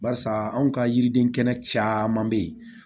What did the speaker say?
Barisa anw ka yiriden kɛnɛ caman bɛ ye